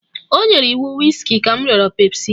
O nyere iwu wiski ka m rịọrọ pepsi